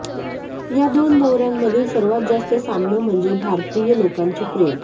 यो दोन दौऱ्यांमधील सर्वात जास्त साम्य म्हणजे भारतीय लोकांचे प्रेम